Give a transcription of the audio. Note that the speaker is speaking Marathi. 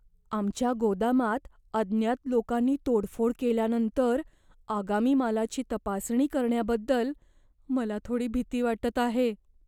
आमच्या गोदामात अज्ञात लोकांनी तोडफोड केल्यानंतर आगामी मालाची तपासणी करण्याबद्दल मला थोडी भीती वाटत आहे.